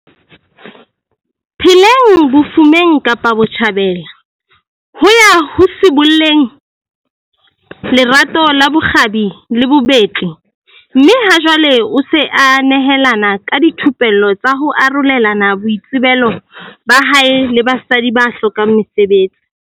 pheleng bofumeng Kapa Botjhabela, ho ya ho sibolleng lerato la bokgabi le bobetli mme ha jwale o se a nehelana ka dithupello tsa ho arolelana boitsebelo ba hae le basadi ba hlokang mesebetsi.